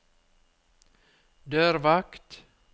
dørvakt